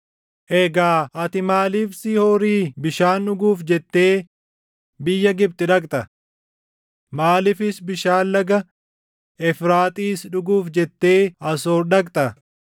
Egaa ati maaliif Shihoorii bishaan dhuguuf jettee biyya Gibxi dhaqxa? Maaliifis bishaan laga Efraaxiis dhuguuf jettee Asoor dhaqxa?